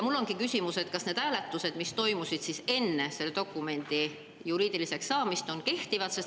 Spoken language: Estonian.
Mul ongi küsimus, kas need hääletused, mis toimusid enne seda, kui see dokument juriidilise jõu sai, on kehtivad.